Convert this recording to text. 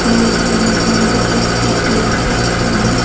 और यहां बहुत ज्यादा पानी--